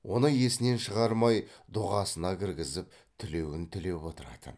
оны есінен шығармай дұғасына кіргізіп тілеуін тілеп отыратын